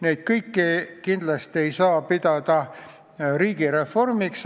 Neid kõiki ei saa kindlasti pidada riigireformiks.